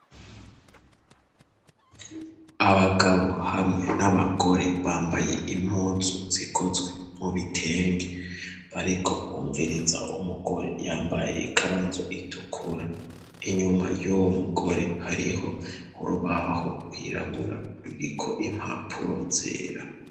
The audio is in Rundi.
Abagabo hamwe n'abagore bambaye impuzu zikozwe mu bitenge bariko bumviriza umugore yambaye ikanzu itukura, inyuma y'uwo mugore hariho urubaho rwirabura ruriko impapuro zera.